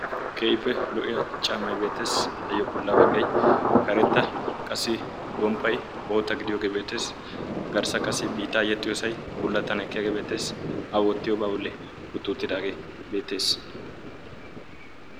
ke7ippe lo77iya caammai beetees ayyo bolla baggai karetta qasi gomppai boota gidiyoogee beetees garssa qasi biitaa yexxiyoosai bullattan ekkeyage beetees awoottiyoobaa bolli uttuuttidaagee beettees